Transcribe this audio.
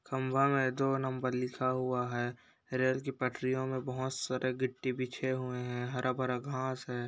खम्बा में जो दो गो नंबर लिखा हुआ है रेल की पटरियों में बहुत सारे गिट्टी बिछे हुए हैं। हरा-भरा घास है।